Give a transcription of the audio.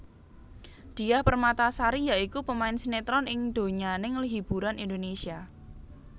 Diah Permatasari ya iku pemain sinetron ing donyaning hiburan Indonesia